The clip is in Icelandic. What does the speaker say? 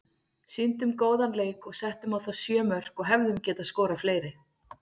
Sýndum góðan leik og settum á þá sjö mörk og hefðum getað skorað fleiri.